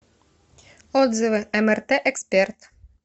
отзывы мрт эксперт